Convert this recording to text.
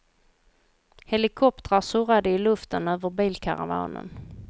Helikoptrar surrade i luften över bilkaravanen.